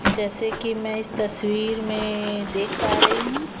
जैसे कि मै इस तस्वीर में देख पा रही हु।